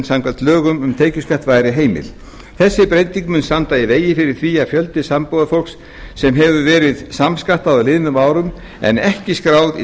samkvæmt lögum um tekjuskatt væri heimil þessi breyting mun standa í vegi fyrir því að fjöldi sambúðarfólks sem hefur verið samskattað á liðnum árum en er ekki skráð í